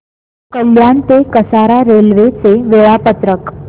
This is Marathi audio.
कल्याण ते कसारा रेल्वे चे वेळापत्रक